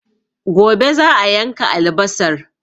Gobe za'a yanka albasar